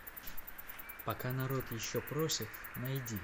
пока народ еще просит найди